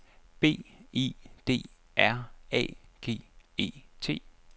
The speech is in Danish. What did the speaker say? B I D R A G E T